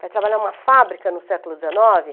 Vai trabalhar em uma fábrica no século dezenove?